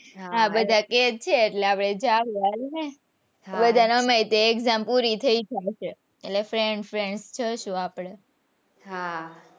હા બધા કે જ છે એટલે અપડે જાસુ હાલ ને બધા ને આમેય ત્યો એક્ષામ પુરી થઇ ગયી છે એટલે friends, friends જઈસુ.